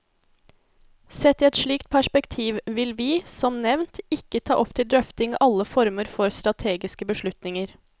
Sett i et slikt perspektiv vil vi, som nevnt, ikke ta opp til drøfting alle former for strategiske beslutninger.